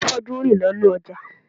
Afọ́jú ń rìn lọ inú ọjà